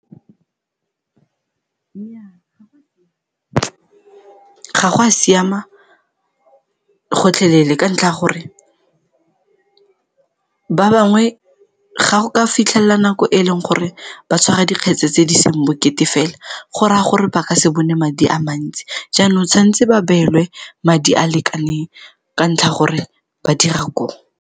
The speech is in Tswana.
Nnyaa, ga go a siama gotlhelele ka ntlha ya gore ba bangwe, ga go ka fitlhelela nako e e leng gore ba tshwara dikgetse tse di seng bokete fela go raya gore ba ka se bone madi a mantsi jaanong tshwantse ba beelwe madi a a lekaneng ka ntlha ya gore ba dira koo.